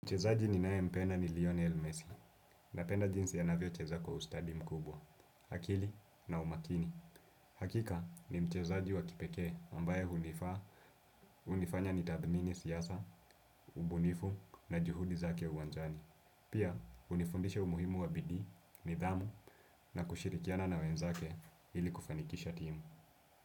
Mchezaji ninaye mpenda ni Lionel Messi, napenda jinsi anavyo cheza kwa ustadi mkubwa, akili na umakini. Hakika ni mchezaji wa kipekee ambaye hunifaa, hunifanya nitathmini siasa, ubunifu na juhudi zake uwanjani. Pia, hunifundisha umuhimu wa bidii, nidhamu na kushirikiana na wenzake ili kufanikisha timu.